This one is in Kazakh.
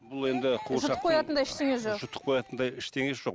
бұл енді қуыршақтың жұтып қоятындай ештеңе жоқ жұтып қоятындай ештеңесі жоқ